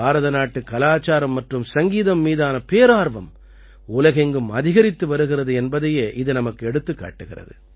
பாரதநாட்டுக் கலாச்சாரம் மற்றும் சங்கீதம் மீதான பேரார்வம் உலகெங்கும் அதிகரித்து வருகிறது என்பதையே இது நமக்கு எடுத்துக் காட்டுகிறது